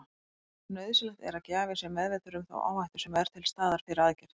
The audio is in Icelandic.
Nauðsynlegt er að gjafi sé meðvitaður um þá áhættu sem er til staðar fyrir aðgerð.